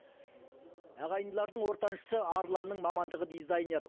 ағайындылардың ортаншысы арланның мамандығы дизайнер